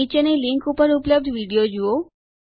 નીચેની લીંક ઉપર ઉપલબ્ધ વિડીયો જુઓ